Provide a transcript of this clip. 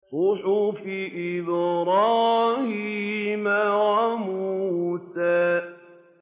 صُحُفِ إِبْرَاهِيمَ وَمُوسَىٰ